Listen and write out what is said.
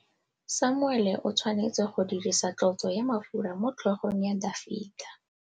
Samuele o tshwanetse go dirisa tlotsô ya mafura motlhôgong ya Dafita.